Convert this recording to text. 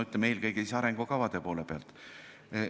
Eelkõige arengukavade poole pealt.